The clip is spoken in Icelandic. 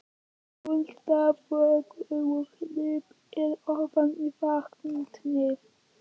Hún starði þögul og hnípin ofan í vatnið.